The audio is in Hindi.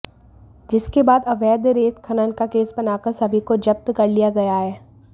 जिसके बाद अवैध रेत खनन का केस बनाकर सभी को जप्त कर लिया गया है